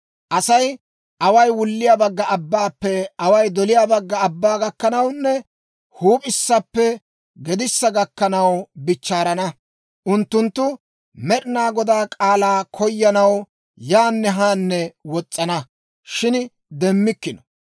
Asay away wulliyaa bagga abbaappe away doliyaa bagga abbaa gakkanawunne huup'issappe gedissa gakkanaw bichchaarana. Unttunttu Med'inaa Godaa k'aalaa koyanaw yaanne haanne wos's'ana, shin demmikkino.